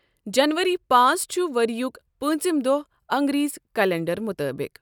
جَنؤری پانٛژھ چھُ ؤرۍیُک پانٛژِم دۄہ اَنگریزی کیلنڈَر مُطٲبِق۔